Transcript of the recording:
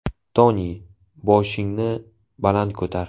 Toni, boshingni baland ko‘tar.